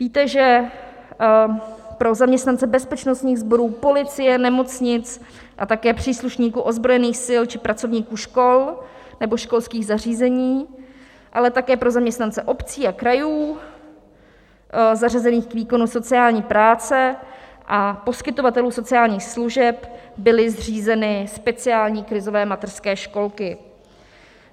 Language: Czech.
Víte, že pro zaměstnance bezpečnostních sborů policie, nemocnic a také příslušníků ozbrojených sil či pracovníků škol nebo školských zařízení, ale také pro zaměstnance obcí a krajů zařazených k výkonu sociální práce a poskytovatelů sociálních služeb byly zřízeny speciální krizové mateřské školky.